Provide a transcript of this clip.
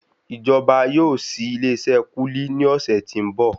Ìjọba yóò ṣi ilé iṣé kúlíkúlí ní ọ̀sẹ̀ tí ń bọ̀.